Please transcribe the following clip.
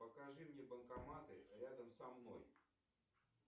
покажи мне банкоматы рядом со мной